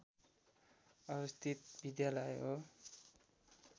अवस्थित विद्यालय हो